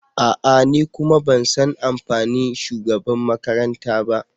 A'a! Ni kuma ban san amfani shugabanmakaranta ba.